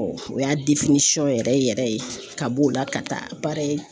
o y'a yɛrɛ yɛrɛ ye ka b'o la ka taa baara ye